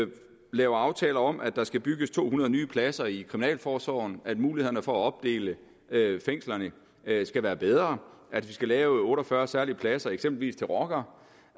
laver aftaler om at der skal bygges to hundrede nye pladser i kriminalforsorgen at mulighederne for at opdele fængslerne skal være bedre at vi skal lave otte og fyrre særlige pladser eksempelvis til rockere